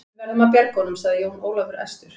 Við verðum að bjarga honum, sagði Jón Ólafur æstur.